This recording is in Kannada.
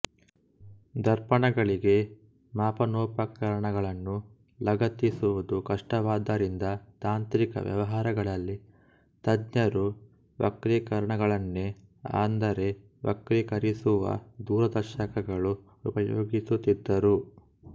ದರ್ಪಣಗಳಿಗೆ ಮಾಪನೋಪಕರಣಗಳನ್ನು ಲಗತ್ತಿಸುವುದು ಕಷ್ಟವಾದ್ದರಿಂದ ತಾಂತ್ರಿಕ ವ್ಯವಹಾರಗಳಲ್ಲಿ ತಜ್ಞರು ವಕ್ರೀಕಾರಕಗಳನ್ನೇ ಅಂದರೆ ವಕ್ರೀಕರಿಸುವ ದೂರದರ್ಶಕಗಳು ಉಪಯೋಗಿಸುತ್ತಿದ್ದರು